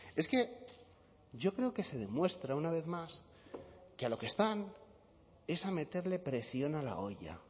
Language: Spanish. es que yo creo que se demuestra una vez más que a lo que están es a meterle presión a la olla